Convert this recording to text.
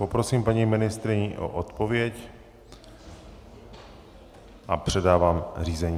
Poprosím paní ministryni o odpověď a předávám řízení.